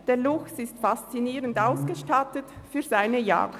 Der Luchs ist faszinierend ausgestattet für seine Jagd.